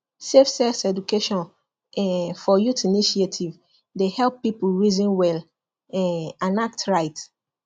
safe sex education um for youth initiative dey help people reason well um and act right